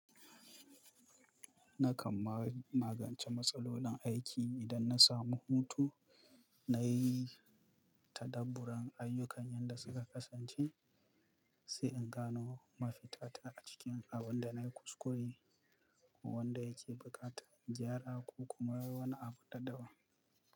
Nakan magance matsalolin aiki idan na samu hutu, na yi ta dabburan ayyukan yan da suka kasance, sai in gano mafita ta a cikin abin da na yi kuskure ko wanda yake buƙatar gyara ko kuma wani abu na dabam.